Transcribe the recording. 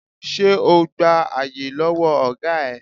Ṣé o gba àyè lọ́wọ́ ọ̀gá ẹ?